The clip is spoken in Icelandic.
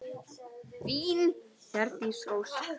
Þín, Hjördís Ósk.